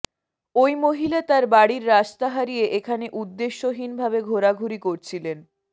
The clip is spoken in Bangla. ওই মহিলা তার বাড়ির রাস্তা হারিয়ে এখানে উদ্দেশ্যহীন ভাবে ঘোরাঘুরি করছিলেন